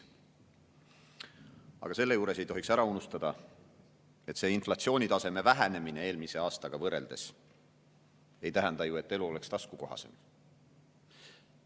Aga selle juures ei tohiks ära unustada, et inflatsiooni vähenemine eelmise aastaga võrreldes ei tähenda ju, et elu oleks taskukohasem.